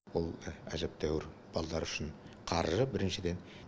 бұл әжептеуір балалар үшін қаржы біріншіден